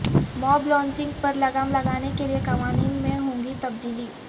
ماب lynching پر لگام لگانے کے لئے قوانین میں ہوگی تبدیلی